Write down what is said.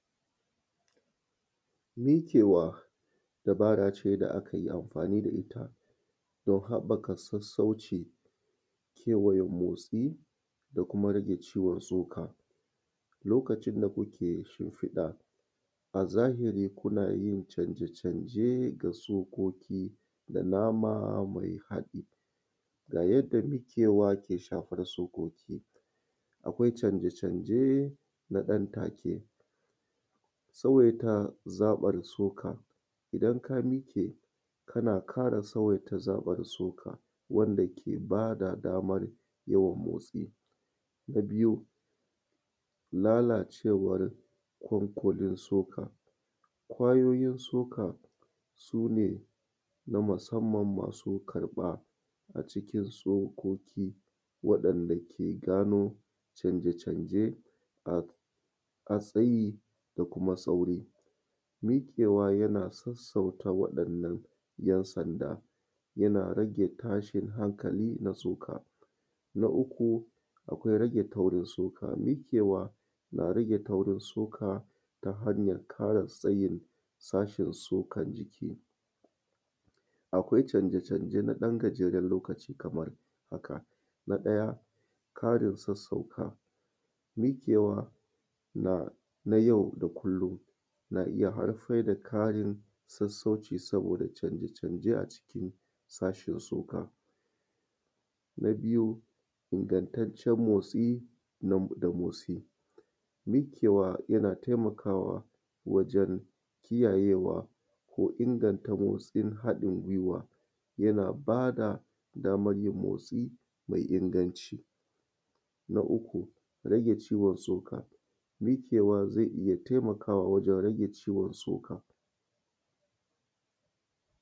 Miƙewa dabarace da akanyi amfani da itta dan haɓɓaka sassauci da yawan motsi da kuma rage ciwo tsoka. Lokacin da mutun yai shinfida a zahiri kuna iyya canje canje ga tsakokida nama mai hadɗi ga yadda bikewa ke shafarsu. Akwai canje canje nanan take, tsawaita zaɓan tsoka idan ka mike kana ƙara tsawaita zaɓar tsoka wanda ke bada damar yawan motsi. Na biyu lalacewar konkodin tsoka, kwayoyin tsoka sune na masamman masu ƙarɓa a cikin tsokoki waɗan dake gano canje canje a tsayi da kuma sauri. Miƙewa yana sassauta waɗannan ‘yan’ sanda, yana rage tashin hankali na tsoka. Na uku akwai rage kaurin tsoka mikewa na rage kaurin tsoka ta hanyan ƙara tsayin Karin tsokan jiki. Akwai canje canje naɗan karamin lokaci kamar. Na ɗaya ƙarin sassauka miƙewa na yau da kullum na iyya haifar da sassauci saboda canje canje a jikin sashin tsako. Na biyu ingantaccen motsi da motsi mikewa yana taimaka wajen kiyayewa ko inganta motsi da haɗin guiwa yana bada motsi mai inganci. Na uku rage ciwon tsoka miƙewa zai iyya taimakawa wajen rage ciwon tsoka.